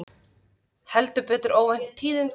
Heldur betur óvænt tíðindi